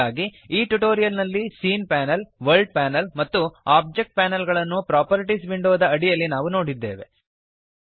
ಹಾಗಾಗಿ ಈ ಟ್ಯುಟೋರಿಯಲ್ ನಲ್ಲಿ ಸೀನ್ ಪ್ಯಾನಲ್ ವರ್ಲ್ಡ್ ಪ್ಯಾನಲ್ ಮತ್ತು ಓಬ್ಜೆಕ್ಟ್ ಪ್ಯಾನಲ್ ಗಳನ್ನು ಪ್ರಾಪರ್ಟೀಸ್ ವಿಂಡೋದ ಅಡಿಯಲ್ಲಿ ನಾವು ನೋಡಿದ್ದೇವೆ